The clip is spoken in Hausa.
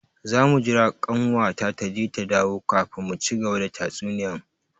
Zamu jira kanwata taje ta dawo kafin mu cigaba da tatsuniyan.